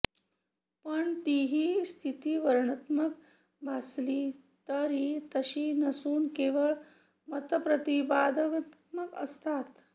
पण तीही स्थितिवर्णनात्मक भासली तरी तशी नसून केवळ मतप्रतिपादनात्मक असतात